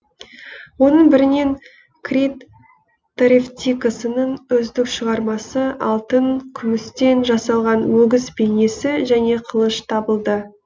оның бірінен крит торевтикасының үздік шығармасы алтын күмістен жасалған өгіз бейнесі және қылыш табылды